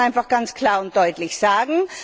Das muss man einfach ganz klar und deutlich sagen.